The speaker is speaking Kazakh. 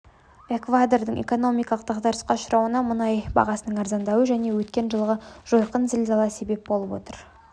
эквадордың экономикалық дағдарысқа ұшырауына мұнай бағасының арзандауы және өткен жылғы жойқын зілзала себеп болып отыр